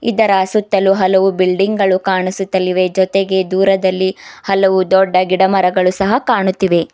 ಇದರ ಸುತ್ತಲೂ ಹಲವು ಬಿಲ್ಡಿಂಗ್ ಗಳು ಕಾನಿಸುತಲಿವೆ ಜೊತೆಗೆ ದೂರದಲ್ಲಿ ಹಲವು ದೊಡ್ಡ ಗಿಡ ಮರಗಳು ಸಹ ಕಾಣುತ್ತಿವೆ.